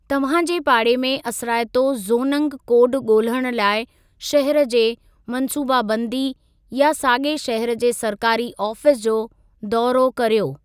तव्हां जे पाड़े में असराइतो ज़ोंनग कोड ॻोल्हणु लाइ, शहर जे मंसूबा बंदी या साॻिए शहर जे सरकारी आफ़ीस जो दौरो कर्यो।